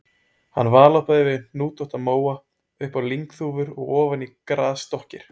Hann valhoppaði yfir hnútótta móa upp á lyngþúfur og ofan í grasdokkir.